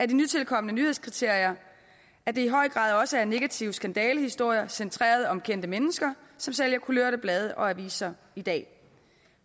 de nytilkomne nyhedskriterier at det i høj grad også er negative skandalehistorier centreret om kendte mennesker som sælger kulørte blade og aviser i dag